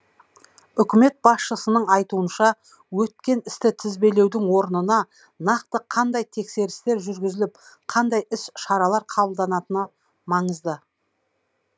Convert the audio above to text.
үкімет басшысының айтуынша өткен істі тізбелеудің орнына нақты қандай тексерістер жүргізіліп қандай іс шаралар қабылданатыны маңызды